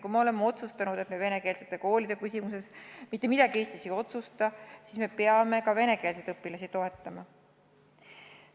Kui oleme otsustanud, et me venekeelsete koolide küsimuses mitte midagi Eestis ei otsusta, siis peame ka venekeelseid õpilasi toetama.